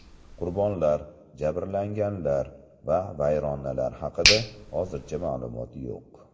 Qurbonlar, jabrlanganlar va vayronalar haqida hozircha ma’lumot yo‘q.